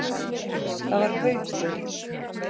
Það var Haukur.